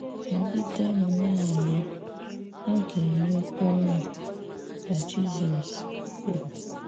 “Nọgidenụ na-arịọ̀, a ga-enyekwà ùnu,” ka Jizọs kwuru.